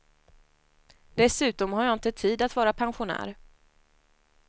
Dessutom har jag inte tid att vara pensionär.